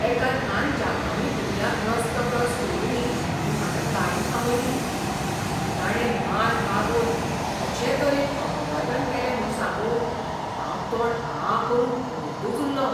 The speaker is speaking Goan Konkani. एका ल्हान जापानी भुरग्याक रस्तो क्रॉस करुनी म्हूण हांवें गाडी थांबयली, आनी ताणे मान बागोवन अशें तरेन अभिवादन केलें म्हूण सांगू, हांव तोंड आं करून पळयतच उल्लों.